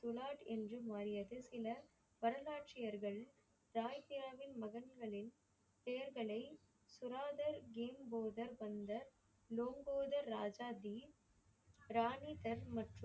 உலாட் என்று மாறியது பின்னர் அருங்காட்சியர்கள் தாயித்யாவின் மகன்களின் பெயர்களை துராதர் கிம் போதர் தந்த லோங்கோதர் ராஜாஜீன் ராணி தர் மற்றும்